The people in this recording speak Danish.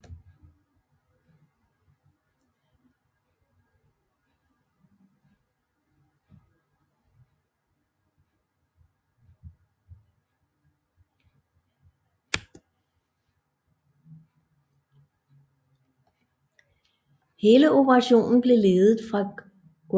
Hele operationen blev ledet fra Guardia Civils hovedkvarter i Ceuta